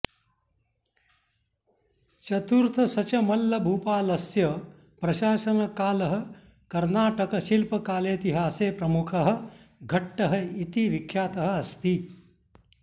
चतुर्थशचमल्लभूपालस्य प्रशासनकालः कर्नाटक शिल्पकालेतिहासे प्रमुखः घट्टः इति विख्यातः अस्ति